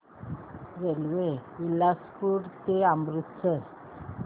railway Bilaspur ते अमृतसर